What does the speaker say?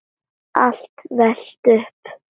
er velt upp.